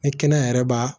Ni kɛnɛya yɛrɛ b'a